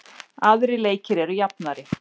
Aðrir leikir eru jafnari